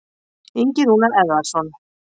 Ingi Rúnar Eðvarðsson.